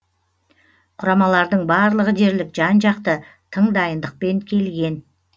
құрамалардың барлығы дерлік жан жақты тың дайындықпен келген